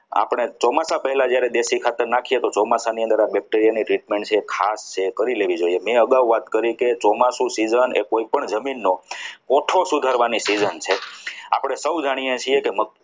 આપણી ચોમાસા પહેલા જ્યારે દેશી ખાતર નાખીએ તો ચોમાસાની અંદર bacteria ની જે treatment છે એ ખાસ કરી લેવી જોઈએ મેં અગાઉ વાત કરી કે ચોમાસાની season એ કોઈપણ જમીનનો photo સુધારવાની season છે આપણે સૌ જાણીએ છીએ કે